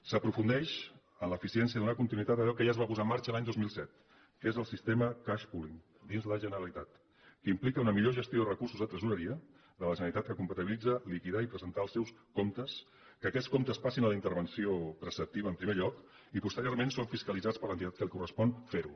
s’aprofundeix en l’eficiència de donar continuïtat a allò que ja es va posar en marxa l’any dos mil set que és el sistema cash pooling dins la generalitat que implica una millor gestió de recursos de tresoreria de la generalitat que compatibilitza liquidar i presentar el seus comptes que aquests comptes passin a la intervenció preceptiva en primer lloc i posteriorment són fiscalitzats per l’entitat a qui li correspon fer ho